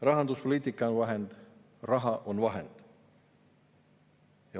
Rahanduspoliitika on vahend, raha on vahend.